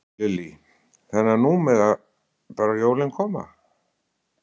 Lillý: Þannig að nú mega bara jólin koma?